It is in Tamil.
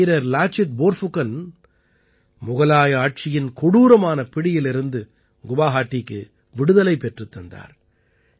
வீரர் லாசித் போர்ஃபுகன் முகலாய ஆட்சியின் கொடூரமான பிடியிலிருந்து குவாஹாடிக்கு விடுதலை பெற்றுத் தந்தார்